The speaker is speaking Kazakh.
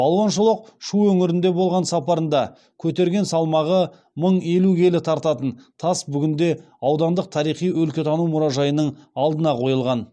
балуан шолақ шу өңірінде болған сапарында көтерген салмағы мың елу келі тартатын тас бүгінде аудандық тарихи өлкетану мұражайының алдына қойылған